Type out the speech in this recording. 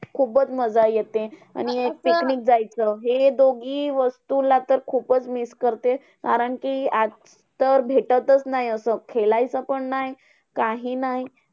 खुपचं मज्जा येते आणि picnic जायचं. हे दोघी वस्तूला तर खुपचं miss करते. कारण कि आता तर भेटतचं नाय असं. खेळायचं पण नाही काही नाही.